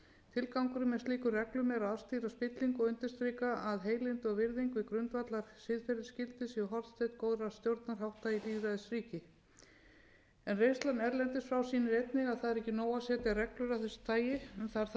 tilgangurinn með slíkum reglum er að afstýra spillingu og undirstrika að heilindi og virðing við grundvallarsiðferðisgildi séu hornsteinn góðra stjórnarhátta í lýðræðisríki reynslan erlendis frá sýnir einnig að það er ekki nóg að setja reglur af þessu tagi það þarf að